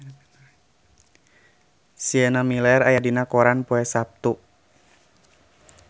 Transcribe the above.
Sienna Miller aya dina koran poe Saptu